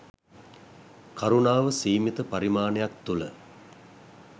කරුණාව සීමිත පරිමාණයක් තුළ